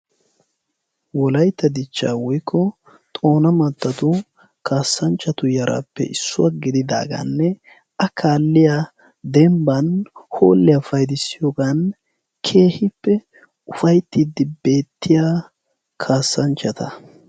wolaytta dichcha woykko xoona mattatu kaassanchchatu yaraappe issuwaa gididaagaanne a kaalliya dembban hoolliyaa paydissiyoogan keehippe ufaittiiddi beettiya kaassanchchata.